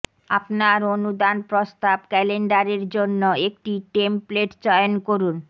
আপনার অনুদান প্রস্তাব ক্যালেন্ডারের জন্য একটি টেমপ্লেট চয়ন করুন